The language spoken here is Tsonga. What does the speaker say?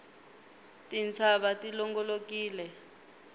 tintshava ti longolokile